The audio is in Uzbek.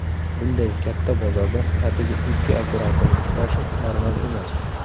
Bunday katta bozorda atigi ikki operatorning ishlashi normal emas.